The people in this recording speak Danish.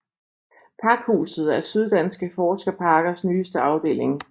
Pakhuset er Syddanske Forskerparkers nyeste afdeling